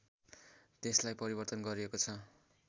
त्यसलाई परिवर्तन गरिएको छ